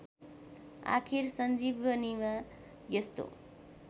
आखिर सञ्जीवनीमा यस्तो